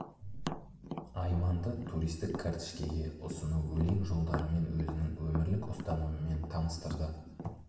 айманды туристік кәртішкеге ұсыну өлең жолдарымен өзінің өмірлік ұстанымымен таныстырды